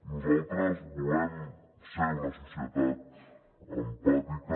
nosaltres volem ser una societat empàtica